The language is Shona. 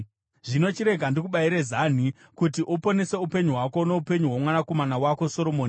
Zvino chirega ndikubayire zanhi kuti uponese upenyu hwako noupenyu hwomwanakomana wako Soromoni.